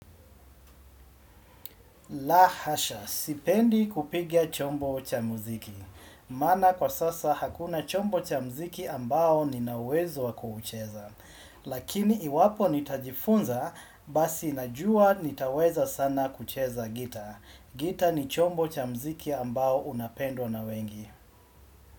La hasha, sipendi kupiga chombo cha mziki. Mana kwa sasa hakuna chombo cha mziki ambao nina uwezo wa kuucheza. Lakini iwapo nitajifunza, basi najua nitaweza sana kucheza gita. Gita ni chombo cha mziki ambao unapendwa na wengi.